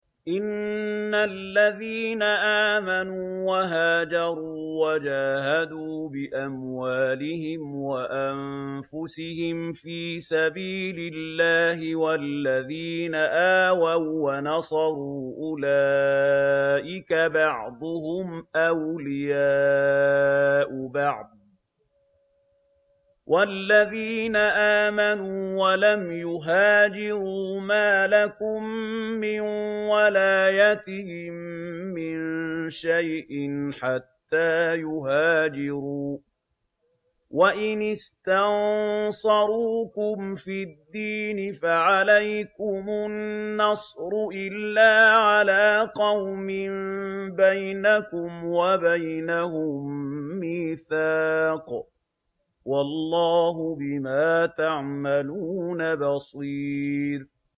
إِنَّ الَّذِينَ آمَنُوا وَهَاجَرُوا وَجَاهَدُوا بِأَمْوَالِهِمْ وَأَنفُسِهِمْ فِي سَبِيلِ اللَّهِ وَالَّذِينَ آوَوا وَّنَصَرُوا أُولَٰئِكَ بَعْضُهُمْ أَوْلِيَاءُ بَعْضٍ ۚ وَالَّذِينَ آمَنُوا وَلَمْ يُهَاجِرُوا مَا لَكُم مِّن وَلَايَتِهِم مِّن شَيْءٍ حَتَّىٰ يُهَاجِرُوا ۚ وَإِنِ اسْتَنصَرُوكُمْ فِي الدِّينِ فَعَلَيْكُمُ النَّصْرُ إِلَّا عَلَىٰ قَوْمٍ بَيْنَكُمْ وَبَيْنَهُم مِّيثَاقٌ ۗ وَاللَّهُ بِمَا تَعْمَلُونَ بَصِيرٌ